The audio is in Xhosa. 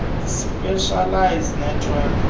nekzn specialist network